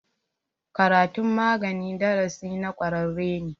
Karatun magani darasi na ƙwararre ne.